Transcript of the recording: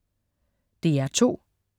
DR2: